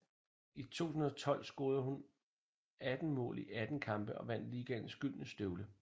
I 2012 scorede hun 18 mål i 18 kampe og vandt ligaens Gyldne Støvle